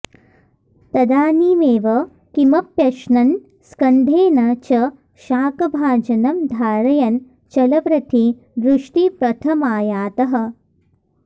तदानीमेव किमप्यश्नन् स्कन्धेन च शाकभाजनं धारयन् चलप्रथि दृष्टिपथमायातः